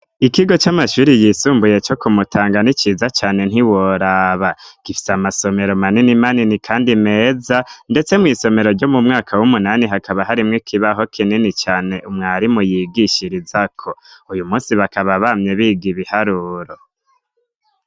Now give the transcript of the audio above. Ikigo c'amashuri yisumbuye co kumutangan iciza cyane ntiworaba gifise amasomero manini manini kandi meza ndetse mu isomero ryo mu mwaka w'umunani hakaba harimwe ikibaho kinini cyane umwarimu yigishiriza ko uyu munsi bakaba bamye biga ibiharuro.